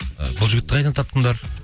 бұл жігітті қайдан таптыңдар